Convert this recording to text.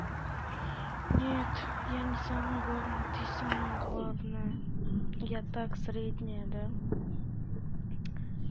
нет я не самая главная ты самая главная я так средняя да